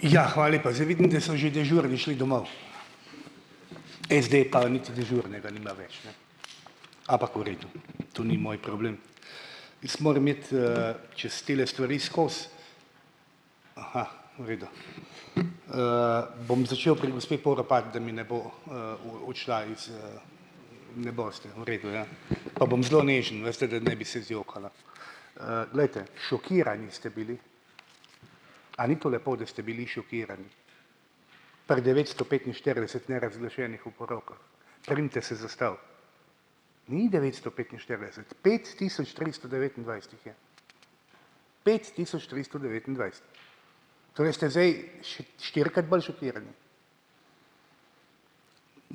Ja, lepa, zdaj vidim, da so že dežurni šli domov, SD pa niti dežurnega nima več, ne. Ampak v redu, to ni moj problem. Jaz moram iti, čez tele stvari skozi. Aha, v redu. Bom začel pri gospe Poropat, da mi ne bo v odšla iz, Ne boste, v redu, ja. Pa bom zelo nežen, veste, da ne bi se zjokala. Glejte, šokirani ste bili, a ni to lepo, da ste bili šokirani pri devetsto petinštirideset nerazglašenih oporokah? Primite se za stol. Ni devetsto petinštirideset, pet tisoč tristo devetindvajset jih je, pet tisoč tristo devetindvajset. Torej ste zdaj še štirikrat bolj šokirani.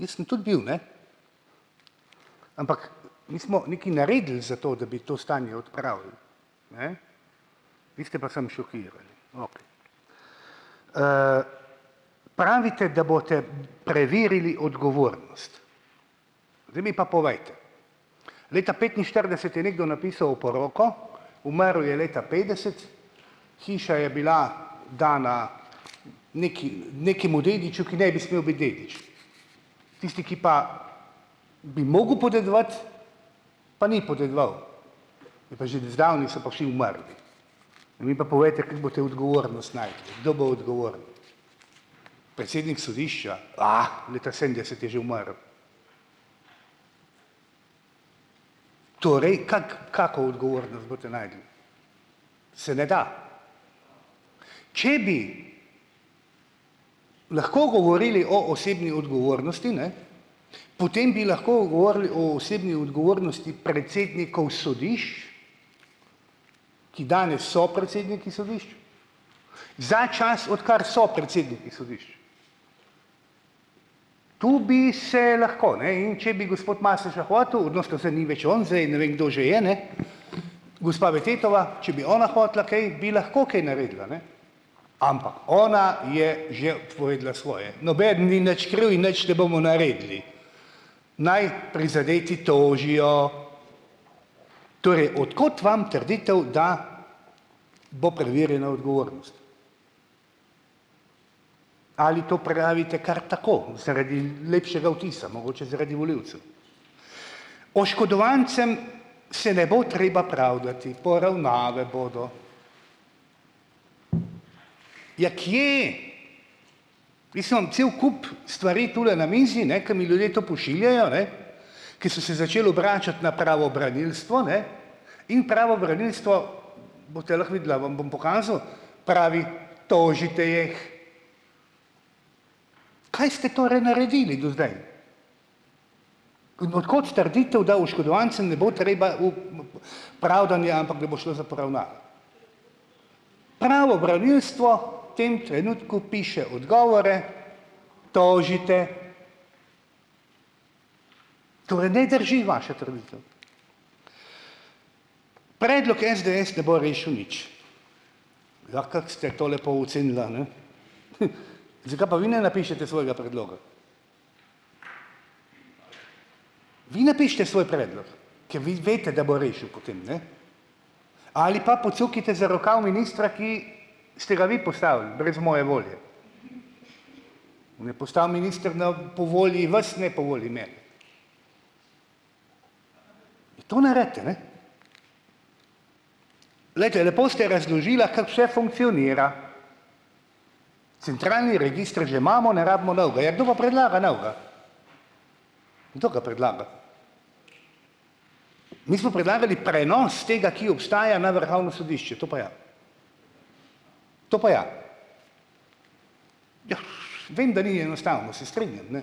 Jaz sem tudi bil, ne, ampak mi smo nekaj naredili za to, da bi to stanje odpravili, ne, vi ste pa samo šokirali, ob. Pravite, da boste preverili odgovornost. Zdaj mi pa povejte, leta petinštirideset je nekdo napisal oporoko, umrl je leta petdeset, hiša je bila dana nekemu dediču, ki ne bi smel biti dedič. Tisti, ki pa bi mogel podedovati, pa ni podedoval, zdavnaj so pa vsi umrli. Mi pa povejte, kako boste odgovornost našli, kdo bo odgovoren? Predsednik sodišča, leta sedemdeset je že umrl. Torej, kako kako odgovornost boste našli? Se ne da. Če bi lahko govorili o osebni odgovornosti, ne, potem bi lahko govorili o osebni odgovornosti predsednikov sodišč, ki danes so predsedniki sodišč za čas, odkar so predsedniki sodišč. Tu bi se lahko, ne, in če bi gospod Masleša hotel, zdaj ne vem, kdo že je, ne, gospa Betettova, če bi ona hotela, kaj bi lahko kaj naredila, ne. Ampak ona je že povedala svoje, nobeden ni nič kriv in nič ne bomo naredili. Naj prizadeti tožijo. Torej, od kot vam trditev, da bo preverjena odgovornost? Ali to pravite kar tako zaradi lepšega vtisa, mogoče zaradi volivcev. Oškodovancem se ne bo treba pravdati, poravnave bodo. Ja, kje? Cel kup stvari tule na mizi, ne, ker mi ljudje to pošiljajo, ne, ki so se začeli obračati na pravobranilstvo, ne, in pravobranilstvo, boste lahko videla, vam bom pokazal, pravi: "Tožite jih." Kaj ste torej naredili do zdaj g, no, od kot trditev, da oškodovancem ne bo treba v pravdanje, ampak da bo šlo za poravnave? Pravobranilstvo tem trenutku piše odgovore, tožite. ne drži vaša trditev. Predlok SDS ne bo rešil nič. Ja, kako ste to lepo ocenila, ne, zakaj pa vi ne napišete svojega predloga? Vi napišite svoj predlog, kaj vi veste, da bo rešil potem, ne. Ali pa pocukajte za rokav ministra, ki ste ga vi postavili brez moje volje. Ne, postal minister ne po volji vas, ne po volji mene. To naredite, ne. Glejte, lepo ste razložila, kako vse funkcionira. Centralni register že imamo, ne rabimo novega, ja, kdo pa predlaga novega? Kdo ga predlaga? Mi smo predlagali prenos tega, ki obstaja na Vrhovno sodišče, to pa ja. To pa ja. Vem, da ni enostavno, se strinjam, ne,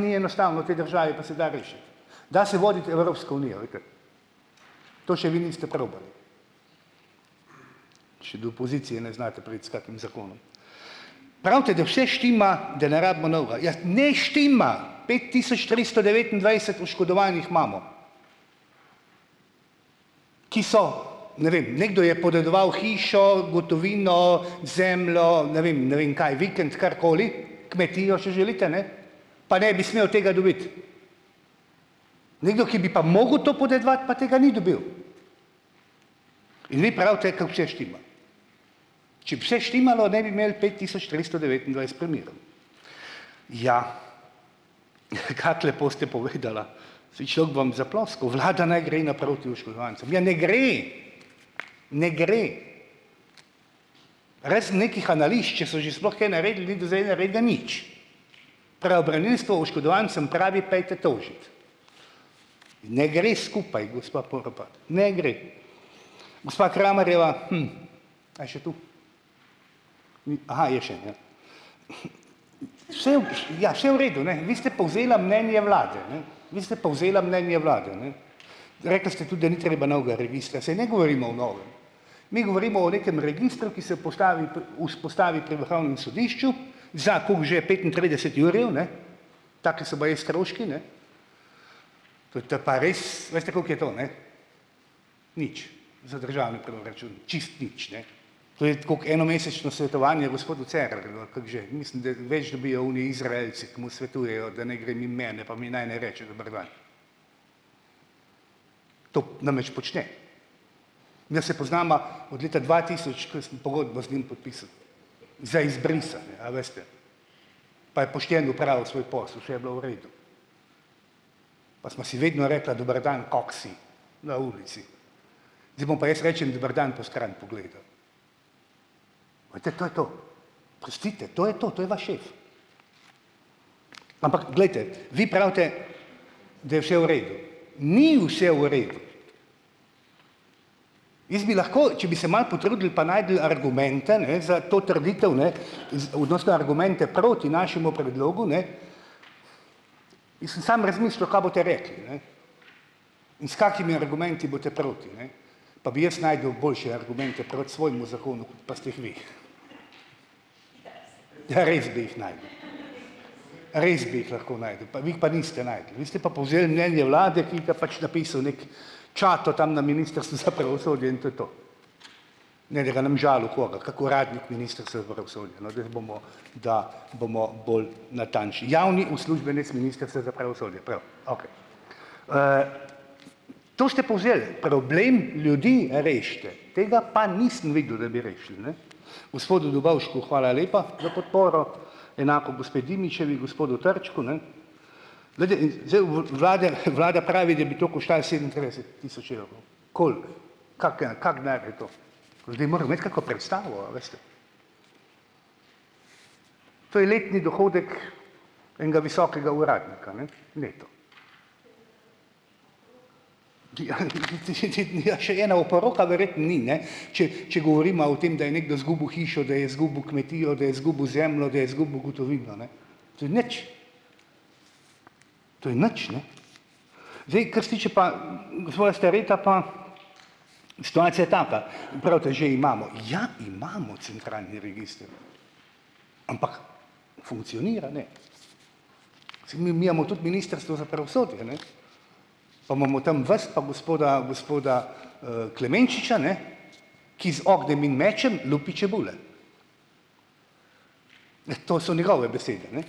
ni enostavno v tej državi, pa se da rešiti. Da se voditi Evropsko unijo, vidite, to še vi niste probali. Še do pozicije ne znate priti s kakim zakonom. Pravite, da vse štima, da ne rabimo novega, ja ne štima! Pet tisoč tristo devetindvajset oškodovanih imamo, ki so, ne vem, nekdo je podedoval hišo, gotovino, zemljo, ne vem, ne vem kaj, vikend, karkoli, kmetijo, če želite, ne, pa ne bi smel tega dobiti. Nekdo, ki bi pa mogel to podedovati, pa tega ni dobil. In vi pravite, kako vse štima. Če bi se štimalo, ne bi imeli pet tisoč tristo Ja, kako lepo ste povedala. Saj človek bi vam zaploskal, vlada naj gre naproti oškodovancem, ja, ne gre. Ne gre. Razen nekih analiz, če so že sploh kaj naredili, ni do zdaj naredil nič. Pravobranilstvo oškodovancem pravi: "Pojdite tožit." Ne gre skupaj, gospa Poropat, ne gre. Gospa Kramerjeva, A je še tu? Mi, aha, je še, ja. Vse, ja se v redu ne, vi ste povzela mnenje vlade, ne. Vi ste povzela mnenje vlade, ne. Rekli ste tudi, da ni treba novega registra, saj ne govorimo o novem. Mi govorimo o nekem registru, ki se postavi vzpostavi pri Vrhovnem sodišču, za koliko že, petintrideset jurjev, ne, taki so baje stroški, ne. To je pa res, veste, kako je to, ne? Nič za državni proračun, čisto nič, ne. To je tako kot enomesečno svetovanje gospodu Cerarju ali kako že, mislim, da več dobijo oni Izraelci, ki mu svetujejo, da naj gre mimo mene, pa mi naj ne reče: "Dober dan." To namreč počne. Se poznava od leta dva tisoč, ko sem pogodbo z njim podpisal za izbrisane, a veste, pa je pošteno opravil svoj posel, vse je bilo v redu. Pa sva si vedno rekla: "Dober dan, kako si," na ulici. Zdaj mu pa jaz rečem: "Dober dan," po stran pogleda. Vidite, to je to. Pustite, to je to, to je vaš šef! Ampak glejte, vi pravite, da je vse v redu. Ni vse v redu! Jaz bi lahko, če bi se malo potrudili, pa našli argumente, ne, za to trditev, ne, proti našemu predlogu, ne. Jaz sem samo razmišljal, kaj boste rekli, ne, in s kakšnimi argumenti boste proti, ne, pa bi jaz našel boljše argumente proti svojemu zakonu, pa ste jih vi. Ja, res bi jih našel. Res bi jih lahko našel, pa vi jih pa niste našli, vi ste pa povzel mnenje vlade, ki ga pač napisal neki čato tam na Ministrstvu za pravosodje, in to je to. Ne, da ga ne bom žalil koga, kak uradnik, da bomo bolj natančni, javni uslužbenec Ministrstva za pravosodje, prav, okej. To ste povzeli, problem ljudi rešite. Tega pa nisem videl, da bi rešili, ne. Gospodu Dobovšku hvala lepa za podporo, enako gospe Dimičevi, gospodu Trčku, ne. Vlada pravi, da bi to koštalo sedemintrideset tisoč evrov. Koliko? Kak, en kak denar je to? Ljudje moramo imeti kako predstavo, a veste. To je letni dohodek enega visokega uradnika, ne neto. Ja, še ena oporoka verjetno ni, ne, če če govoriva o tem, da je nekdo izgubil hišo, da je izgubil kmetijo, da je izgubil zemljo, da je izgubil gotovino, ne. To je nič! To je nič, ne. Zdaj, kar se tiče pa gospoda Stareta, pa situacija je taka. Pravite, že imamo, ja, imamo centralni register, ampak funkcionira, ne. Saj mi imamo tudi Ministrstvo za pravosodje, ne, pa imamo tam vas, pa gospoda, gospoda, Klemenčiča, ne, ki z ognjem in mečem lupi čebule. To so njegove besede, ne.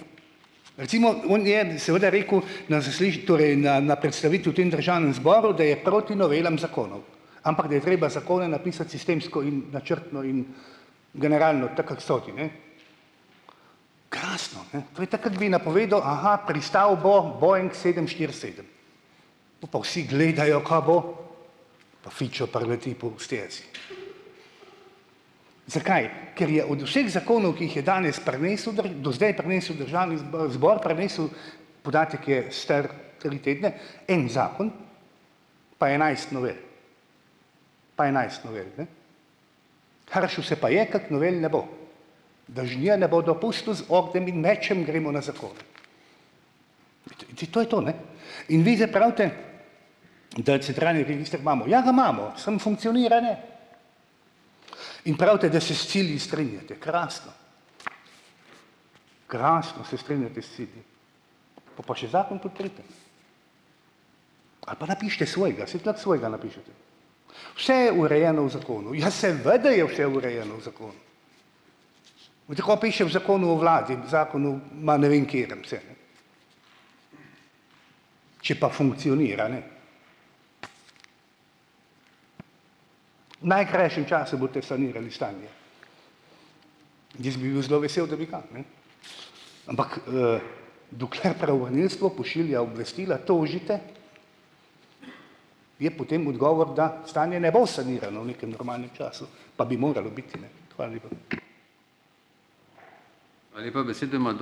Recimo on je seveda rekel na torej na na predstavitvi v tem državnem zboru, da je proti novelam zakonov, ampak da je treba zakone napisati sistemsko in načrtno in generalno, tako kako so ti, ne. Krasno, ne, to je tako kako bi napovedal, a ha, pristal bo Boeing sedem štiri sedem, pol pa vsi gledajo, kaj bo, pa fičo prileti po stezi. Zakaj? Ker je od vseh zakonov, ki jih je danes prinesel do zdaj prinesel državni zbor prinesel, podatek je star tri tedne, en zakon pa enajst novel. Pa enajst novel, ne. Hršil se pa je, kako novel ne bo, da žnje ne bo dopustu z ognjem in mečem gremo na zakone. To je to, ne. In vi zdaj pravite, da centralni register imamo, ja, ga imamo, samo funkcionira, ne. In pravite, da se s cilji strinjate, krasno. Krasno, se strinjate s cilji. Pol pa še zakon podprite. Ali pa napišite svojega, saj tlk svojega napišete. Vse je urejeno v zakonu, ja seveda je vse urejeno v zakonu. Veste, kaj piše v zakonu o vladi, zakonu, ma ne vem katerem, Če pa funkcionira, ne. V najkrajšem času boste sanirali stanje. Jaz bi bil zelo vesel, da bi ga, ne. Ampak, dokler pravobranilstvo pošilja obvestila, tožite, je potem odgovor, da stanje ne bo sanirano v nekem normalnem času, pa bi moralo biti, ne. lepa.